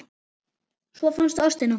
Svo fannstu ástina.